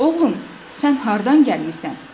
Oğlum, sən hardan gəlmisən?